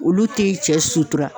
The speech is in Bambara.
Olu ti cɛ sutura.